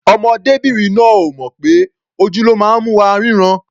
Ọmọdébìnrin náà ò mọ̀ pé ojú ló máa ń mú wa rínran.